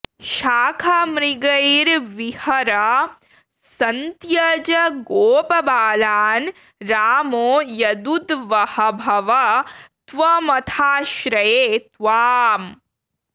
शाखामृगैर्विहर सन्त्यज गोपबालान् रामो यदूद्वह भव त्वमथाश्रये त्वाम्